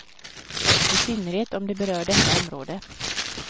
I synnerhet om det berör detta område.